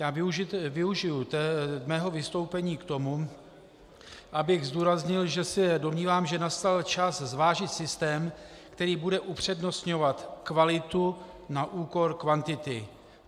Já využiji svého vystoupení k tomu, abych zdůraznil, že se domnívám, že nastal čas zvážit systém, který bude upřednostňovat kvalitu na úkor kvantity.